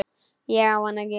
Ég á hana ekki.